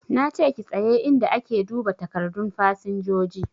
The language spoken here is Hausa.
Na ce ki tsaye inda ake duba takardun fasinjoji!